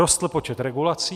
Rostl počet regulací.